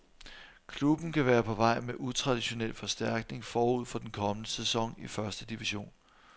Klubben kan være på vej med utraditionel forstærkning forud for den kommende sæson i første division.